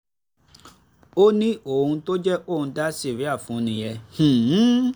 ó ní ohun tó jẹ́ kóun dá síríà fún un nìyẹn